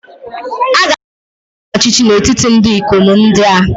A ga-ahọpụta onye ọchịchị n’etiti ndị ikom ndị a